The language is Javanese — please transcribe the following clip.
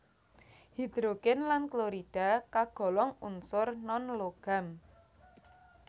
Hidrogen lan klorida kagolong unsur non logam